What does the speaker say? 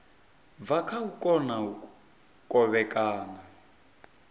bva kha u kona kovhekana